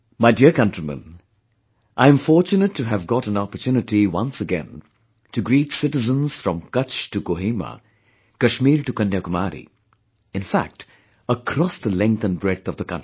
My dear countrymen, I am fortunate to have got an opportunity once again to greet citizens from Kutch to Kohima, Kashmir to Kanyakumari; in fact across the length & breadth of the country